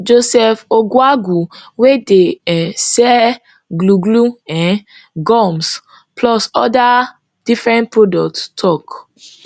joseph oguagu wey dey um sell glue glue um gums plus oda different products tok